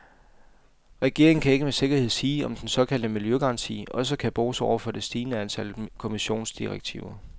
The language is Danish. Regeringen kan ikke med sikkerhed sige, om den såkaldte miljøgaranti også kan bruges over for det stigende antal kommissionsdirektiver.